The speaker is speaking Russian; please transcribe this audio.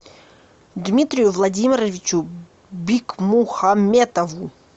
дмитрию владимировичу бикмухаметову